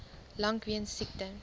lank weens siekte